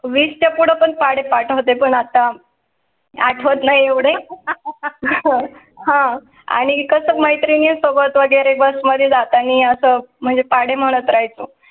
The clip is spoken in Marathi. वीस च्या पुढे पण पाढे पाठवते पण आता आठवत नाही एवढे हां, आणि कसं मैत्रिणी सोबत वगैरे बस मध्ये जात आणि असं म्हणजे पाढे म्हणाय चं